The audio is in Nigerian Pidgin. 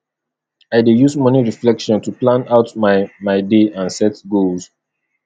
i dey use morning reflection to plan out my my day and set goals